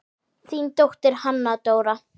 Þín dóttir, Hanna Dóra.